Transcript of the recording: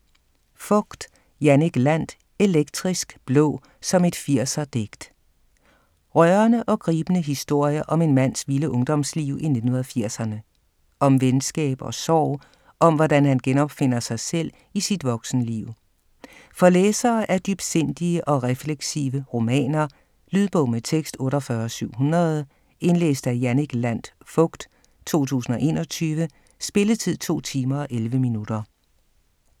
Fogt, Jannik Landt: Elektrisk blå, som et 80'er digt Rørende og gribende historie om en mands vilde ungdomsliv i 1980'erne. Om venskab og sorg, og om hvordan han genopfinder sig selv i sit voksenliv. For læsere af dybsindige og refleksive romaner. Lydbog med tekst 48700 Indlæst af Jannik Landt Fogt, 2021. Spilletid: 2 timer, 11 minutter.